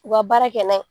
U ka baara kɛ n'a ye